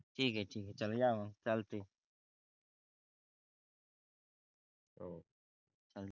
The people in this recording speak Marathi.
ठीक आहे ठीक आहे चला या